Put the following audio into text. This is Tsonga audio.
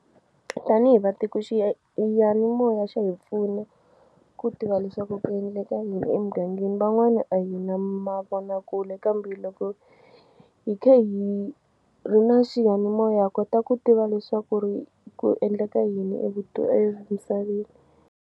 Tanihi vatiko yanimoya xa hi pfuna ku tiva leswaku ku endleka yini emugangeni van'wani a hi na mavonakule kambe loko hi kha hi ri na xiyanimoya ha kota ku tiva leswaku ri ku endleka yini emisaveni.